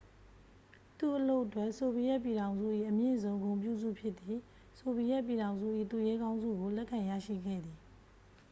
"သူ့အလုပ်အတွက် ဆိုဗီယက်ပြည်ထောင်စု၏ အမြင့်ဆုံ ဂုဏ်ပြုဆု ဖြစ်သည့် "ဆိုဗီယက်ပြည်ထောင်စု၏ သူရဲကောင်း" ဆုကို လက်ခံရရှိခဲ့သည်။